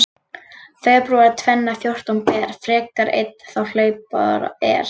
Febrúar tvenna fjórtán ber, frekar einn þá hlaupár er.